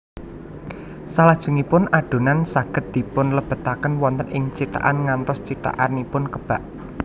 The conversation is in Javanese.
Salajengipun adonan saged dipunlebetaken wonten ing cithakan ngantos cithakanipun kebak